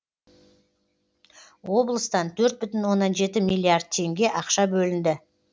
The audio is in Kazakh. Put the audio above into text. облыстан төрт бүтін оннан жеті милиллиард теңге ақша бөлінді